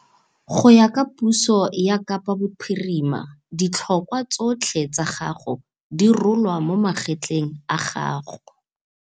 Go ya ka puso ya Kapa Bophirima, ditlhokwa tsotlhe tsa gago di rolwa mo magetleng a gago.